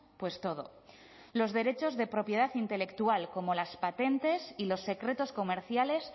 pues todo los derechos de propiedad intelectual como las patentes y los secretos comerciales